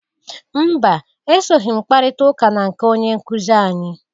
Mba! Esoghi m kparịta ụka na nke onye nkụzị anyị.